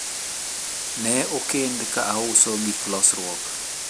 ne okend ka auso gik losruok